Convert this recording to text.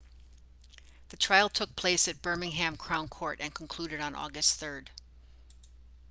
the trial took place at birmingham crown court and concluded on august 3